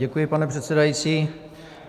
Děkuji, pane předsedající.